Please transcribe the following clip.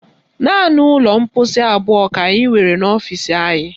Naanị ụlọ mkposi abụọ ka anyị nwere n'ọfisi anyị